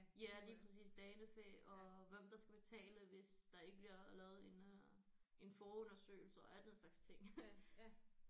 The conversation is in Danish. Ja lige præcis danefæ og hvem der skal betale hvis der ikke bliver lavet en øh en forundersøgelse og alle den slags ting